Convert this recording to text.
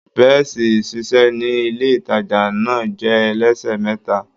Bẹ́ẹ̀ṣì ìṣiṣẹ́ ní ilé-ìtàjà náà jẹ́ ẹlẹ́sẹ̀ mẹ́ta.